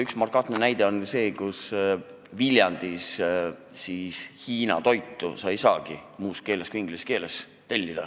Üks markantne näide on see, et Viljandis sa Hiina toitu ei saagi tellida muus keeles kui inglise keeles.